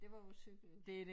Det var jo cykel